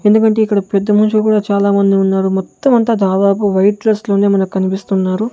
ఎందుకంటే ఇక్కడ పెద్ద మనుషులు కూడా చాలా మంది ఉన్నారు మొత్తం అంతా దాదాపు వైట్ డ్రెస్ లోనే మన కనిపిస్తున్నారు.